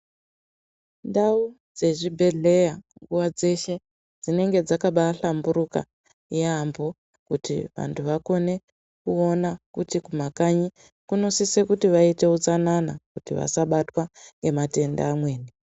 Ndau dzezvibhedhleya nguwa dzeshe dzinenge dzakabaahlamburuka yambo, kuti vantu vakone kuona kuti kumakanyi kunosise kuti vaite utsanana kuti vasabatwa ngematenda amweni.